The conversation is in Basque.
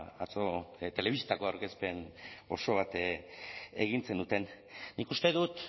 atzo telebistako aurkezpen oso bat egin zenuten nik uste dut